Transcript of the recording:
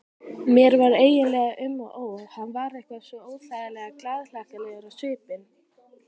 Mér var eiginlega um og ó, hann var eitthvað svo óþægilega glaðhlakkalegur á svipinn.